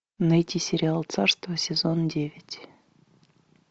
найти сериал царство сезон девять